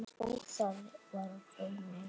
Og það var raunin.